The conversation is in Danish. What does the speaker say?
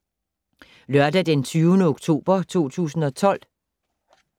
Lørdag d. 20. oktober 2012